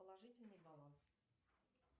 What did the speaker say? положительный баланс